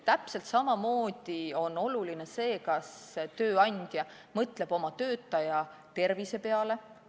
Täpselt samamoodi on oluline see, kas tööandja mõtleb oma töötajate tervise peale.